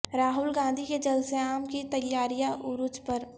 راہول گاندھی کے جلسہ عام کی تیاریاں عروج پر